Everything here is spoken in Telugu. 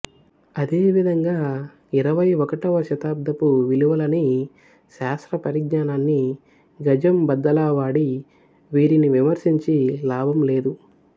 అదే విధంగా ఇరవై ఒకటవ శతాబ్దపు విలువలని శాస్త్ర పరిజ్ఞానాన్ని గజం బద్దలా వాడి వీరిని విమర్శించి లాభం లేదు